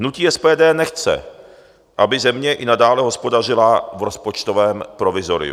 Hnutí SPD nechce, aby země i nadále hospodařila v rozpočtovém provizoriu.